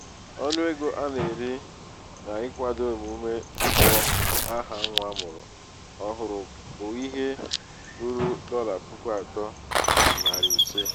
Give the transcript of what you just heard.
ọnụ ego a na-eri n'ịkwado emume ịkpọ aha nwa amụrụ ọhụrụ bụ ihe ruru dolla puku atọ na narị ise.